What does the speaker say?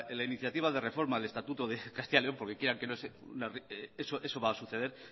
la iniciativa de reforma del estatuto de castilla león porque quiera que no eso va a suceder